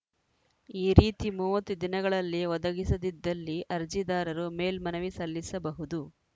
ಈ ರೀತಿ ಮೂವತ್ತು ದಿನಗಳಲ್ಲಿ ಒದಗಿಸದಿದ್ದಲ್ಲಿ ಅರ್ಜಿದಾರರು ಮೇಲ್ಮನವಿ ಸಲ್ಲಿಸಬಹುದು